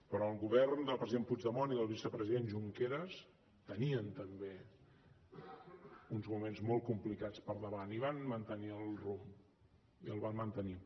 però el govern del president puigdemont i del vicepresident junqueras tenia també uns moments molt complicats per davant i van mantenir el rumb i el van mantenir